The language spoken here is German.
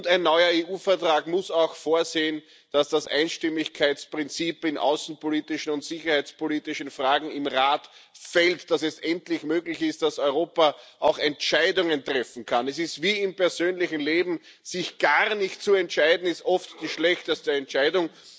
Ein neuer EU Vertrag muss auch vorsehen, dass das Einstimmigkeitsprinzip in außenpolitischen und sicherheitspolitischen Fragen im Rat fällt, dass es endlich möglich ist, dass Europa auch Entscheidungen treffen kann. Es ist wie im persönlichen Leben Sich gar nicht zu entscheiden, ist oft die schlechteste Entscheidung.